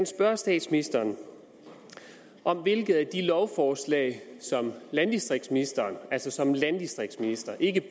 spørge statsministeren om hvilket af de lovforslag som landdistriktsministeren altså som landdistriktsminister ikke